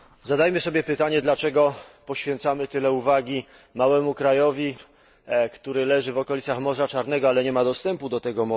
Zadajmy sobie pytanie, dlaczego poświęcamy tyle uwagi małemu krajowi, który leży w okolicach Morza Czarnego, ale nie ma do niego dostępu.